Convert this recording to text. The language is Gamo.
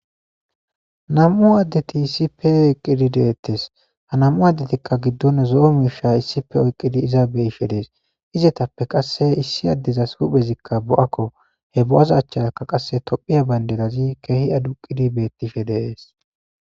Nam7u addethi issipe eqqidi deeththes; ha nam7u addethikka giddon zo7o miisha issippe oyqqidi iza be7ishe de7ees; izethappe qasse issi addezas huphezikka bo7akko; he bo7aza achcharakka qasse thoophiya baynderazi keehi aduqidi beththishe de7ees.